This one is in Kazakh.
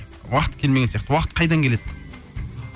уақыт келмеген сияқты уақыт қайдан келеді